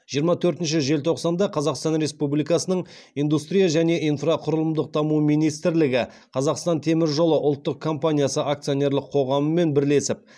жиырма төртінші желтоқсанда қазақстан республикасының индустрия және инфрақұрылымдық даму министрлігі қазақстан темір жолы ұлттық компаниясы акционерлік қоғамымен бірлесіп